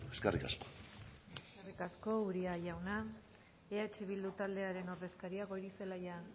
eskerrik asko eskerrik asko uria jauna eh bildu taldearen ordezkaria goirizelaia